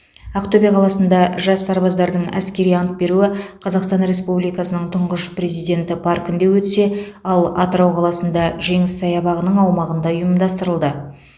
ақтөбе қаласында жас сарбаздардың әскери ант беруі қазақстан республикасының тұңғыш президенті паркінде өтсе ал атырау қаласында жеңіс саябағының аумағында ұйымдастырылды